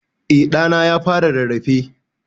Eh ɗa na ya fara rarrafe.